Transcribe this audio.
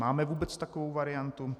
Máme vůbec takovou variantu?